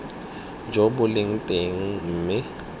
jo bo leng teng mme